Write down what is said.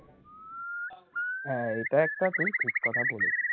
হ্যাঁ এটাও একটা ঠিক ঠিক কথা বলেছি